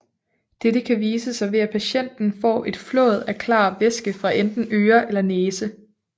Dette kan vise sig ved at patienten får et flåd af klar væske fra enten øre eller næse